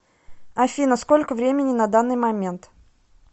афина сколько времени на данный момент